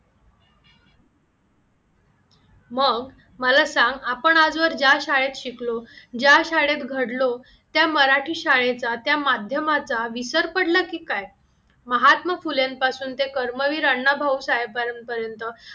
मग मला सांग आपण आजवर ज्या शाळेत शिकलो, ज्या शाळेत घडलो, त्या मराठी शाळेचा त्या माध्यमाचा विसर पडला की काय? महात्मा फुलेंपासून ते कर्मवीर अण्णाभाऊ साहेबांपर्यंत